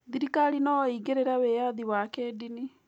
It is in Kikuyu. Thirikari no ĩingĩrĩre wĩyathi wa kĩndini